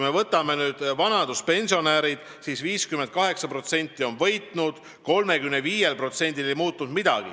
Võtame vanaduspensionärid: 58% on võitnud, 35%-l ei muutunud midagi.